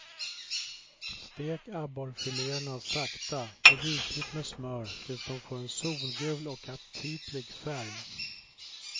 Stek abborrfiléerna sakta i rikligt med smör tills de får en solgul och aptitlig färg.